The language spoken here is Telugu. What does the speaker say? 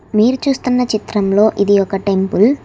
మీరు చూస్తున్న చిత్రంలో ఇది ఒక టెంపుల్ .